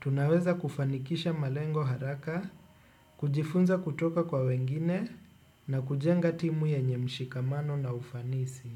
tunaweza kufanikisha malengo haraka kujifunza kutoka kwa wengine na kujenga timu yenye mshikamano na ufanisi.